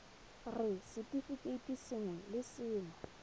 r setefikeiti sengwe le sengwe